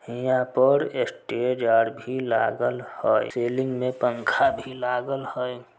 यहाँ पर स्टेज आर भी लागल हई सीलिंग में पंखा भी लागल हई।